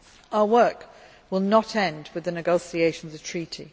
Our work will not end with the negotiation of the treaty.